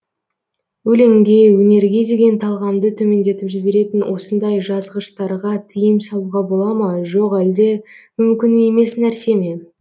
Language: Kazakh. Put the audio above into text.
өлеңге өнерге деген талғамды төмендетіп жіберетін осындай жазғыштарға тиым салуға бола ма жоқ әлде мүмкін емес нәрсе ме